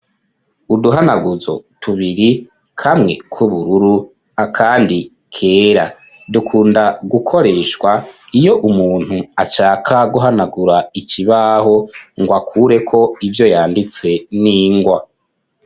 Uduhanaguzo tubiri kamwe k'ubururu akandi kera, dukunda gukoreshwa iyo umuntu ashaka guhanagura ikibaho ngo akure ko ivyo yanditse n'ingwa.